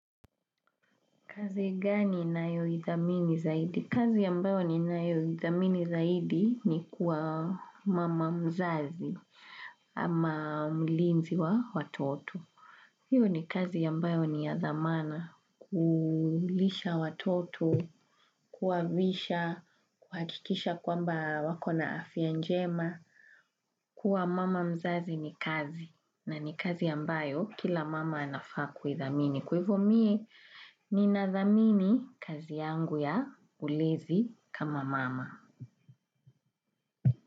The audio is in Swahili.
Kazi gani nayoithamini zaidi? Kazi ambayo ninayoithamini zaidi ni kuwa mama mzazi ama mlinzi wa watoto. Hiyo ni kazi ambayo ni ya thamana kulisha watoto, kuwavisha, kuhakikisha kwamba wakona afya njema. Kuwa mama mzazi ni kazi na ni kazi ambayo kila mama anafaa kuithamini. Kwa hivyo mi, ninathamini kazi yangu ya ulezi kama mama.